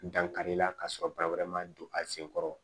Dankari la ka sɔrɔ wɛrɛ ma don a sen kɔrɔ